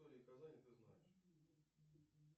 истории казани ты знаешь